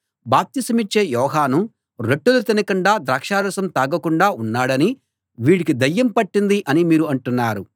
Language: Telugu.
బాప్తిసమిచ్చే యోహాను రొట్టెలు తినకుండా ద్రాక్షారసం తాగకుండా ఉన్నాడని వీడికి దయ్యం పట్టింది అని మీరు అంటున్నారు